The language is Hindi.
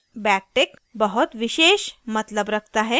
backtick बहुत विशेष मतलब रखता है